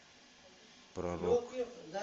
про рок